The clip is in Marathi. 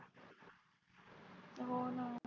होणा.